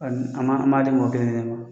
Ani an m'a an m'a di mɔgɔ kelen kelen ma